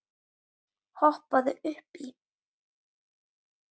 Hoppaðu upp í.